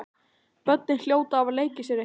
Börnin hljóta að hafa leikið sér eitthvað.